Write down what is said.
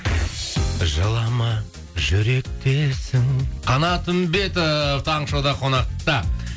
жылама жүректесің қанат үмбетов таңғы шоуда қонақта